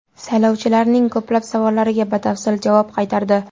Saylovchilarning ko‘plab savollariga batafsil javob qaytardi.